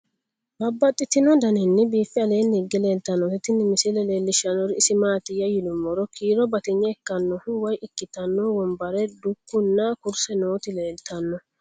Babaxxittinno daninni biiffe aleenni hige leelittannotti tinni misile lelishshanori isi maattiya yinummoro kiiro batinye ikkannohu woy ikkitannoti wonbare, dukku nna kurise nootti leelittanno